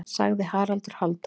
sagði Haraldur Hálfdán.